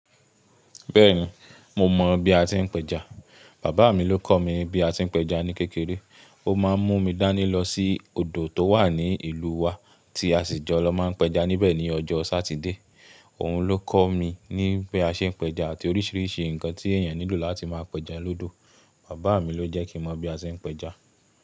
Bẹ́ẹ̀ni, mo mọ̀ bí a ti ń péja. Bàbá mi ló kọ̀ mí bí a ti ń péja ní kékeré. Ó má ń mú mi dání lọ sí odò tó wà ní ìlú wa tí a sì jọ lọ má ń péja níbẹ̀ ní ọjọ́ Sátidé. Òun ló kọ̀ mí ní bí a ṣe ń péja àti oríṣiríṣi nǹkan tí èèyàn nílò láti máa péja lọ́dọ̀. Bàbá mi ló jẹ́ kín mọ̀ bí a ṣe ń péja.